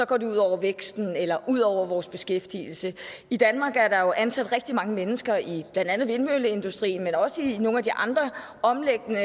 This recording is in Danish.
går det ud over væksten eller ud over vores beskæftigelse i danmark er der jo ansat rigtig mange mennesker i blandt andet vindmølleindustrien men også i nogle af de andre omliggende